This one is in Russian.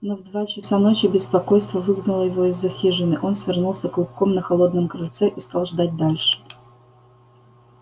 но в два часа ночи беспокойство выгнало его из за хижины он свернулся клубком на холодном крыльце и стал ждать дальше